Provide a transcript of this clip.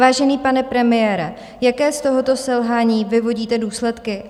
Vážený pane premiére, jaké z tohoto selhání vyvodíte důsledky?